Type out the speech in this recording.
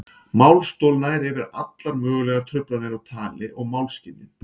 Málstol nær yfir allar mögulegar truflanir á tali og málskynjun.